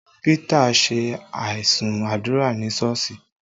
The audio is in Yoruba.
Pita ṣe aisun àdúrà ní Sọ́ọ̀sì